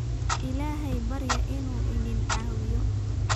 Ilaahay barya inuu idin caawiyo